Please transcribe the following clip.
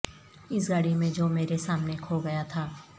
اس گاڑی میں جو میرے سامنے کھو گیا تھا